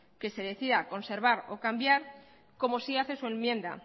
que decida conservar o cambiar como sí hace su enmienda